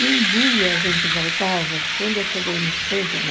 E um dia a gente voltava, quando eu cheguei no centro, na